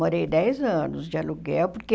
Morei dez anos de aluguel, porque...